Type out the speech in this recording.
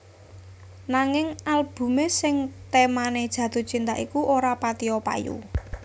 Nanging albumé sing témané Jatuh Cinta iku ora patiya payu